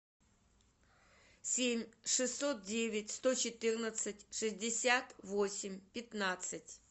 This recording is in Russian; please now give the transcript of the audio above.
семь шестьсот девять сто четырнадцать шестьдесят восемь пятнадцать